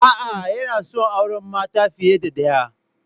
A'a, yana son auren mata fiye da ɗaya.